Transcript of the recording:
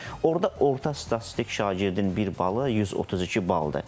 Orda orta statistik şagirdin bir balı 132 baldır.